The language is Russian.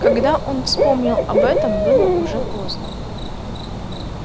когда он вспомнил об этом было уже поздно